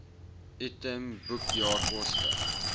item boekjaar koste